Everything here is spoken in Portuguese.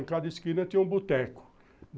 Em cada esquina tinha um boteco.